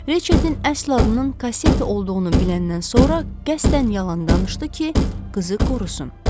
Reçetin əsl adının Kasseti olduğunu biləndən sonra qəsdən yalan danışdı ki, qızı qorusun.